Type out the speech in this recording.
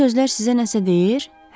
Bu sözlər sizə nəsə deyir?